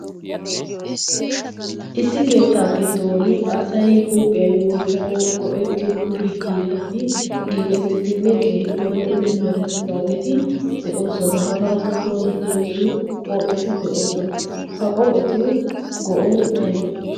issi keettaa giddon asai huuphiyan wottanau go'ettiyo kushe hiillati giigettidinne keehippe lo'idi merettidaageeti de'oosona. hagaa sohuwan heezzu qoppheti de'oosona ha qohphetugo'ay aybee?